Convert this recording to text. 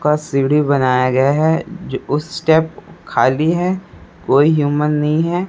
का सीढ़ी बनाया गया है जो उस स्टेप खाली है कोई ह्यूमन नहीं है।